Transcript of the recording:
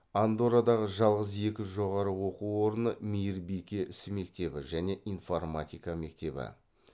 андоррадағы жалғыз екі жоғары оқу орны мейірбике ісі мектебі және информатика мектебі